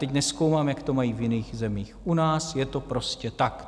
Teď nezkoumám, jak to mají v jiných zemích, u nás je to prostě tak.